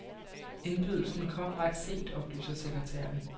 Indbydelsen kom ret sent, oplyser sekretæren.